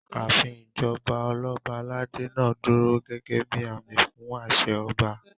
Ààfin ìjọba Ọlọ́ba aládé náà dúró gẹ́gẹ́ bíi àmì fún àṣẹ ọba